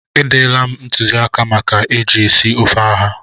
E derela m ntụzịaka maka eji esi ofe ụha.